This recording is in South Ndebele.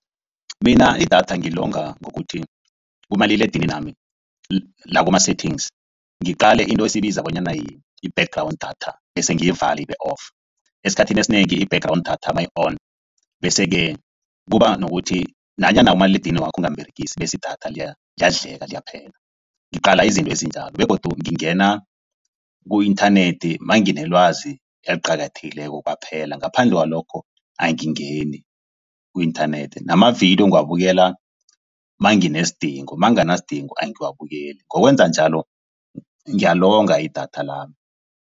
Mina idatha ngilonga ngokuthi kumaliledininami la kuma-settings ngiqale into esibiza bonyana yi-background datha bese ngiyivale ibe-off. Esikhathini esinengi i-background datha mayi-on bese-ke kuba nokuthi nanyana umaliledinini wakho ungamuberegisi, bese idatha liyadleka liyaphela. Ngiqala izinto ezinjalo begodu ngingena ku-inthanethi nanginelwazi eliqakathekileko kwaphela. Ngaphandle kwalokho angingeni ku-inthanethi. Namavidiyo ngiwabukela nanginesidingo, nakunganasidingo angiwabukeli. Ngokwenza njalo ngiyalonga idatha lami.